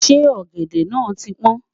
ṣé ògèdè nà tí pọn?